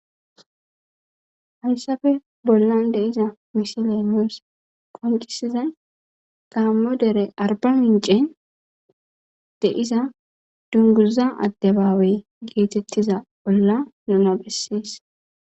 Hayssafe bollan de iza misile muos qoncisizay gaammo dere arba mincen deiza dunguza addebaawe geetettiza bolla nunabessees.